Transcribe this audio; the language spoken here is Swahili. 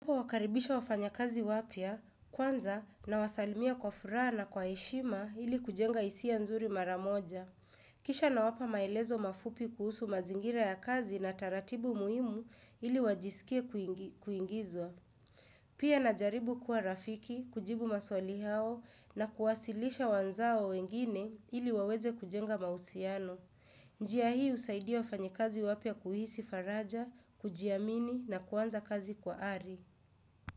Kwa kuwakaribisha wafanya kazi wapya, kwanza na wasalimia kwa furaha na kwa heshima ili kujenga hisia nzuri maramoja. Kisha nawapa maelezo mafupi kuhusu mazingira ya kazi na taratibu muhimu ili wajisikie kuingizwa. Pia na jaribu kuwa rafiki, kujibu maswali hao na kuwasilisha wenzao wengine ili waweze kujenga mahusiano. Njia hii usaidia wafanya kazi wapya kuhisi faraja, kujiamini na kuanza kazi kwa ari.